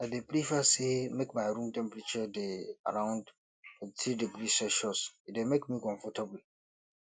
i dey prefer say make my room temperature dey around 23 degrees celsius e dey make me comfortable